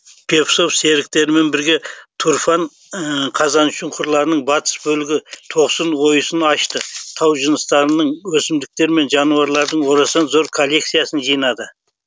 певцов серіктерімен бірге тұрфан қазаншұңқырларының батыс бөлігі тоқсын ойысын ашты тау жыныстарының өсімдіктер мен жануарлардың орасан зор коллекциясын жинады